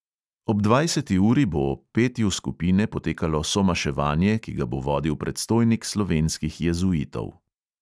Ob dvajseti uri bo ob petju skupine potekalo somaševanje, ki ga bo vodil predstojnik slovenskih jezuitov.